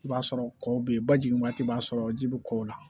I b'a sɔrɔ kɔw bɛ ye ba jigin waati b'a sɔrɔ ji bɛ kɔ la